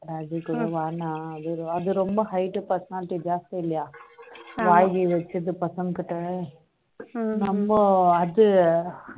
rajesh சொன்ன வேண்டாம் அது ரொம்ப height personality ஜாஸ்தி இல்லையா வாங்கி வச்சுட்டு பசங்க கிட்ட ரொம்ப அது